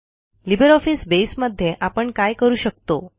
LibreOffice Base मध्ये आपण काय करू शकतो